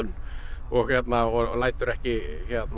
og lætur ekki